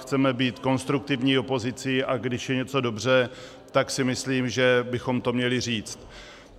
Chceme být konstruktivní opozicí, a když je něco dobře, tak si myslím, že bychom to měli říct.